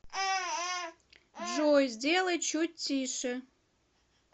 джой сделай чуть тише